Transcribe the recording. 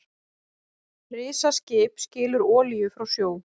Risaskip skilur olíu frá sjó